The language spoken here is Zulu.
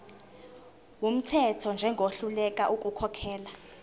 wumthetho njengohluleka ukukhokhela